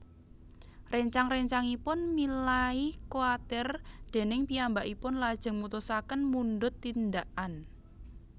Réncang réncangipun milai kwatir déning piyambakipun lajeng mutusaken mundhut tindakan